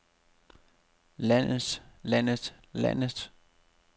landes landes landes